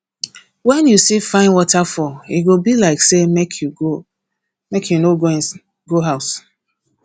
wen you see fine waterfall e go be like say make you no go house